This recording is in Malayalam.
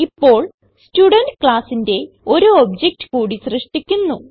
ഇപ്പോൾ സ്റ്റുഡെന്റ് classന്റെ ഒരു ഒബ്ജക്ട് കൂടി സൃഷ്ടിക്കുന്നു